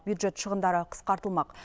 бюджет шығындары қысқартылмақ